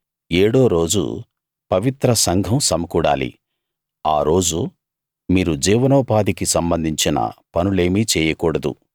ఏడో రోజు పవిత్ర సంఘం సమకూడాలి ఆ రోజు మీరు జీవనోపాధికి సంబంధించిన పనులేమీ చెయ్యకూడదు